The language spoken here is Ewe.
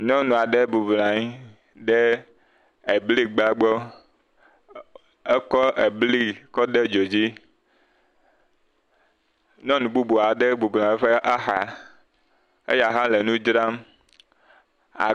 Nyɔnu aɖe bɔbɔ nɔ anyi ɖe ebli gba gbɔ, ekɔ ebli kɔ de dzo dzi, nyɔnu bubu aɖe hã bɔbɔ nɔ anyi ɖe eƒe axa, eya hã le nu dzram.